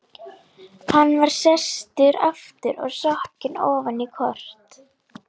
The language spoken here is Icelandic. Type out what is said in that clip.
Hann var sestur aftur og sokkinn ofan í kort af